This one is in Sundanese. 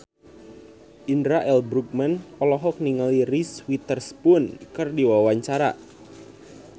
Indra L. Bruggman olohok ningali Reese Witherspoon keur diwawancara